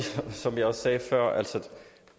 som jeg også sagde før at